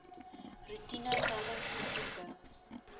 roetine tydens besoeke